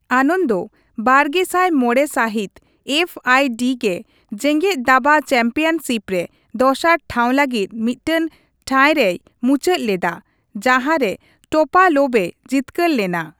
ᱟᱱᱚᱱᱫᱚ ᱵᱟᱨᱜᱮᱥᱟᱭ ᱢᱚᱲᱮ ᱥᱟᱹᱦᱤᱛ ᱮᱯᱷᱹᱟᱭᱹᱰᱤ ᱜᱮ ᱡᱮᱜᱮᱫ ᱫᱟᱵᱟ ᱪᱮᱢᱯᱤᱭᱚᱱᱥᱤᱯ ᱨᱮ ᱫᱚᱥᱟᱨ ᱴᱷᱟᱣ ᱞᱟᱹᱜᱤᱫ ᱢᱤᱫᱴᱟᱝ ᱴᱟᱭ ᱨᱮᱭ ᱢᱩᱪᱟᱹᱫ ᱞᱮᱫᱟ, ᱡᱟᱸᱦᱟ ᱨᱮ ᱴᱳᱯᱟᱞᱳᱵᱷᱼᱮ ᱡᱤᱛᱠᱟᱹᱨ ᱞᱮᱱᱟ ᱾